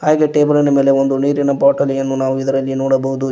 ಹಾಗೆ ಟೇಬಲೀ ನ ಮೇಲ್ಗಡೆ ನೀರಿನ ಬಾಟಲಿಯನ್ನು ನಾವು ಇದರಲ್ಲಿ ನೋಡಬಹುದು ಇ --